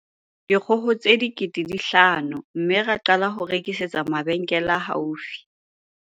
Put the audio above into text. dikgoho tse 5 000 mme ra qala ho rekisetsa mabe nkele a haufi."